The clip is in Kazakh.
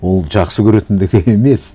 ол жақсы көретіндігі емес